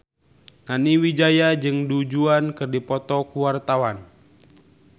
Nani Wijaya jeung Du Juan keur dipoto ku wartawan